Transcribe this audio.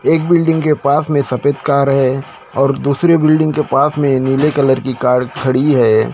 एक बिल्डिंग के पास में सफेद कार है और दूसरी बिल्डिंग के पास में नीले कलर की कार खड़ी है।